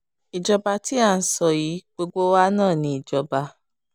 ìjọba tí à ń sọ yìí gbogbo wa náà ni ìjọba